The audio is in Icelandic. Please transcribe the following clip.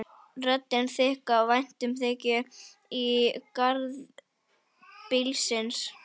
Röddin þykk af væntumþykju í garð bílsins.